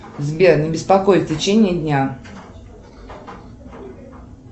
сбер не беспокой в течении дня